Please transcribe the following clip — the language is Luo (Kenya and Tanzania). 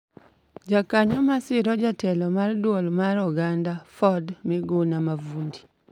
Jokanyo ma siro Jatelo mar Duol mar Oganda (FORD), Miguna Mavundi,